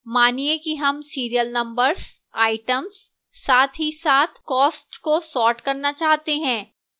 मानिए कि हम serial numbers items साथ ही साथ cost को sort करना चाहते हैं